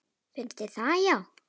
Finnst þér það já.